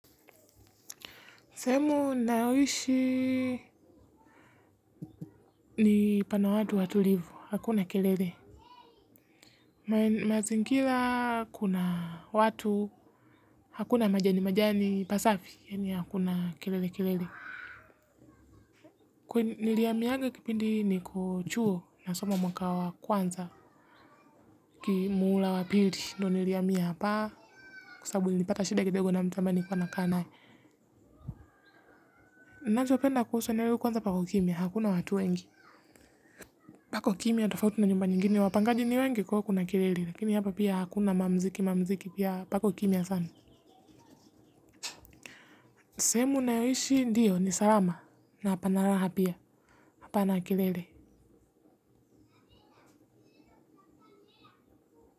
Sehemu nayoishi ni pana watu watulivu, hakuna kelele. Mazingila kuna watu, hakuna majani majani pasafi, yani hakuna kelele kelele. Kwe niliyaminga kipindi ni kuchuo na soma mwaka wa kwanza, kimuula wa pili, ndo niliyami hapa, kusabuli nipata shida kidego na mtambani kwa na kanae. Nachupenda kusu aneo la kwanza pako kimya, hakuna watu wengi. Pako kimya atofauti na njumba nyingine wapangaji ni wenge kwa kuna kilele lakini hapa pia hakuna mamziki mamziki pia pako kimya sana. Ni sehemu nayoishi ndiyo ni salama na panaraha pia hapa na kilele.